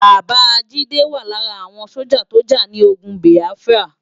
Baba Jide wá lárà áwòn sójá tó já ni ógùn Biáfrá